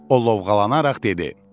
O lovğalanaraq dedi: